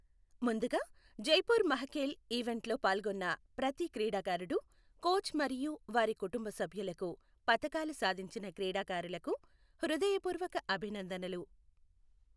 ముందుగా, జైపూర్ మహఖేల్ ఈవెంట్లో పాల్గొన్న ప్రతి క్రీడాకారుడు, కోచ్ మరియు వారి కుటుంబ సభ్యులకు పతకాలు సాధించిన క్రీడాకారులకు హృదయపూర్వక అభినందనలు.